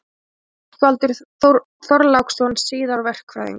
Rögnvaldur Þorláksson, síðar verkfræðingur.